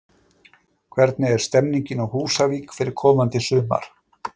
Hvernig er stemmingin á Húsavík fyrir komandi sumar?